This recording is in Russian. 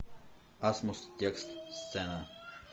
асмус текст сцена